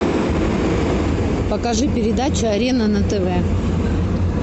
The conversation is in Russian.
покажи передачу арена на тв